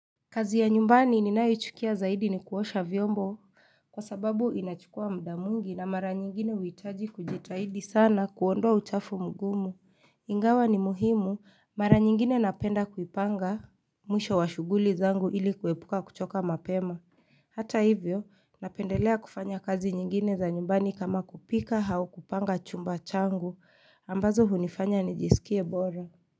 Kazi ya nyumbani ninayoichukia zaidi ni kuosha vyombo kwa sababu inachukua muda mwingi na mara nyingine huitaji kujitahidi sana kuondoa uchafu mgumu Ingawa ni muhimu, mara nyingine napenda kuipanga mwisho wa shughuli zangu ili kuepuka kuchoka mapema. Hata hivyo napendelea kufanya kazi nyingine za nyumbani kama kupika au kupanga chumba changu ambazo hunifanya nijiskie bora.